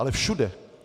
Ale všude!